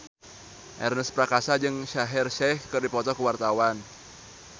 Ernest Prakasa jeung Shaheer Sheikh keur dipoto ku wartawan